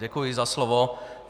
Děkuji za slovo.